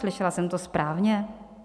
Slyšela jsem to správně?